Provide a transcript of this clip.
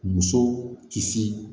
Muso kisi